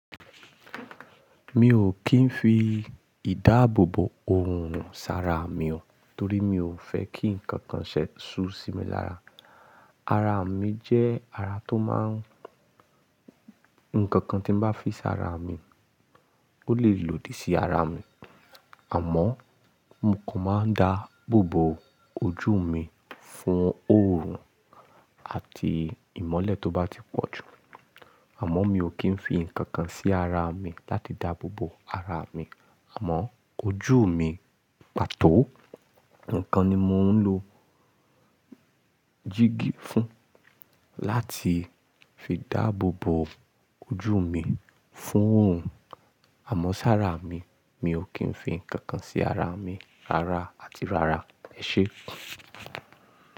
Mi ò kì í fi ìdáàbòbò òòrùn sarà mi o torí mi ò fẹ́ kí nǹkan kan ṣẹ́ ṣu sí mi lára. Ara mi jẹ́ ara tó máa ń Nǹkan kan tí n bá fi sára mi, ó lè lòdì sí ara mi. Àmọ́ mo kò máa ń dáàbòbò ojú mi fún òòrùn àti ìmọ́lẹ̀ tó bá ti pọ̀ jù. Àmọ́ mi ò kí ń fi ǹkan kan sí ara mi láti dáàbòbò ara mi àmọ́ ojú mi pàtó. Ǹkan ni mò ń lo jíígi fún láti fi dáàbòbò ojú mi fún òòrùn. Àmọ́ sára mi, mi ò kí ń fi ǹkan kan sí ara mi rara àti rara. Ẹ ṣé.